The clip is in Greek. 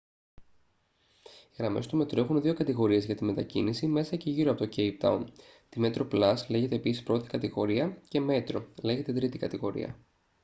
οι γραμμές του μετρό έχουν δύο κατηγορίες για τη μετακίνηση μέσα και γύρω από το κέιπ τάουν: τη metroplus λέγεται επίσης πρώτη κατηγορία και metro λέγεται τρίτη κατηγορία